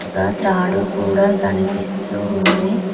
ఒక త్రాడు కూడా కనిపిస్తూ ఉంది.